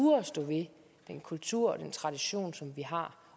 at stå ved den kultur og den tradition som vi har